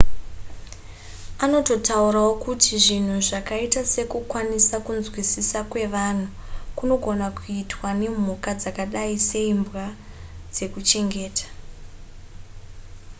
anototaurawo kuti zvinhu zvakaita sekukwanisa kunzwisisa kwevanhu kunogona kuitwa nemhuka dzakadai seimbwa dzekuchengeta